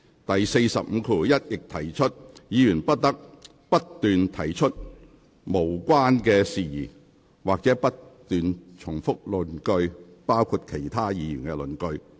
第451條亦訂明，議員不得不斷提出無關的事宜或不斷重複論點，包括其他議員的論點。